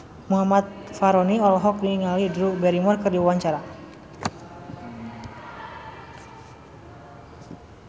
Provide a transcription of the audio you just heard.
Muhammad Fachroni olohok ningali Drew Barrymore keur diwawancara